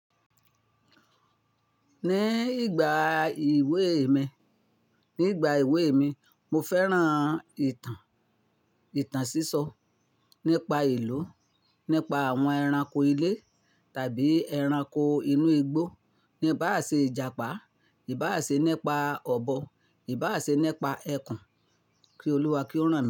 Ní ìgbà ìwé mi, ní ìgbà ìwé mi, mo fẹ́ràn ìtàn, ìtàn sísọ nípa ìlú, nípa àwọn ẹranko ilé tàbí ẹranko inú igbó, níba sè Ìjàpá, ìbá àṣẹ nípa ọ̀bọ, ìbá àṣẹ nípa ẹkùn, kí Olúwa kí ó rán mi.